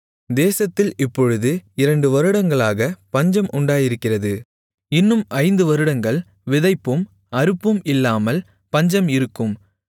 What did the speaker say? தேசத்தில் இப்பொழுது இரண்டு வருடங்களாகப் பஞ்சம் உண்டாயிருக்கிறது இன்னும் ஐந்து வருடங்கள் விதைப்பும் அறுப்பும் இல்லாமல் பஞ்சம் இருக்கும்